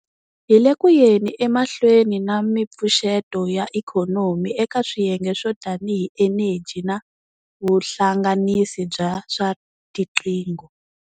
Hi le ku yeni emahlweni na mipfuxeto ya ikhonomi eka swiyenge swo tanihi eneji na vuhlanganisi bya swa tiqingho.